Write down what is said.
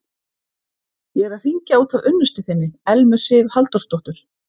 Ég er að hringja út af unnustu þinni, Elmu Sif Halldórsdóttur.